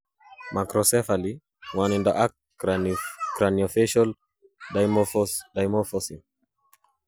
macrocephaly, nwagindo ak craniofacial dysmorphism?